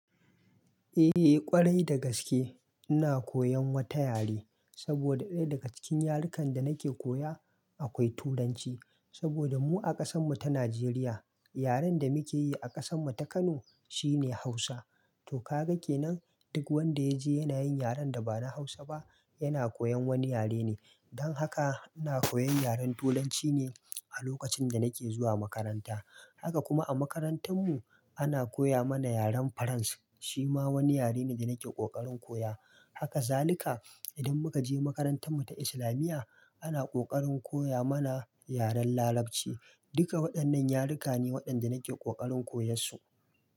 Eh ƙwarai da gaske ina koyan wata yare, saboda ɗaya daga cikin yarukan da nake koya akwai Turanci. Saboda mu a ƙasan mu ta Najeriya yaren da muke yi a ƙasan mu ta Kano shine Hausa. To ka ga kenan duk wanda ya je yana yin yaren da ba na Hausa ba yana koyan wani yare ne. Dan haka ina koyan yaren Turanci ne a lokacin da nake zuwa makaranta. Haka kuma a makarantar mu ana koya mana yaren Faransa shi ma wani yare ne da nake ƙoƙarin koya. Haka zalika idan muka je makarantar mu ta islamiya ana ƙoƙarin koya mana yaren Larabci. Duka waɗannan yaruka ne waɗanda nake ƙoƙarin koyarsu.